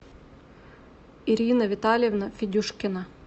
ирина витальевна федюшкина